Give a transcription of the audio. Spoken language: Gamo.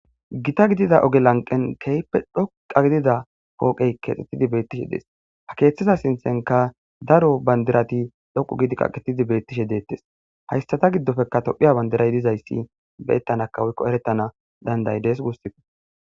Gitta gidida oge lanqen keehippe dhoqqa gidida pooqey keexxetidi beettishe dees ha keeththiza siinththenka daro bandirati dhoqqu gidi kaqettidi beettishe deettes haystata giddofeka tophphiya bandiray dizayssi beyettanaka woykko erettana danda'idees guusukko